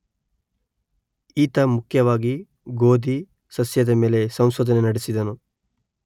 ಈತ ಮುಖ್ಯವಾಗಿ ಗೋದಿ ಸಸ್ಯದ ಮೇಲೆ ಸಂಶೋಧನೆ ನಡೆಸಿದನು